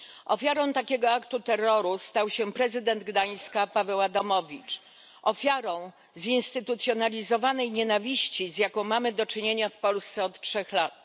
Ofiarą takiego aktu terroru stał się prezydent Gdańska Paweł Adamowicz, ofiarą zinstytucjonalizowanej nienawiści, z jaką mamy do czynienia w Polsce od trzech lat.